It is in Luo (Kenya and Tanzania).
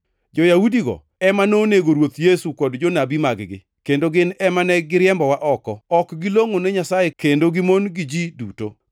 Jo-Yahudigo ema nonego Ruoth Yesu kod jonabi mag-gi, kendo gin ema ne giriembowa oko. Ok gilongʼo ne Nyasaye kendo gimon gi ji duto,